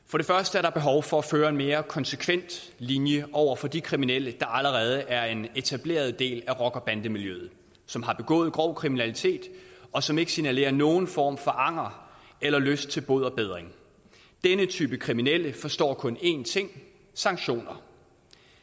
der er behov for at føre en mere konsekvent linje over for de kriminelle der allerede er en etableret del af rocker bande miljøet som har begået grov kriminalitet og som ikke signalerer nogen form for anger eller lyst til bod og bedring denne type kriminelle forstår kun én ting sanktioner